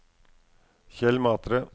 Kjell Matre